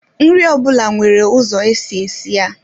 Nri ọ bụla nwere ụzọ esi esi ya